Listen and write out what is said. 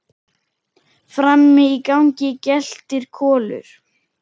Frammi í gangi geltir Kolur.